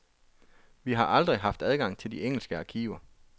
Vi har aldrig haft adgang til de engelske arkiver.